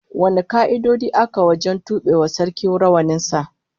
Wane ka'idoji aka wajen tube wa Sarkin rawanin sa?